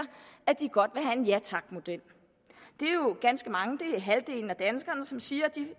at de godt have en ja tak model det er jo ganske mange det er halvdelen af danskerne som siger at de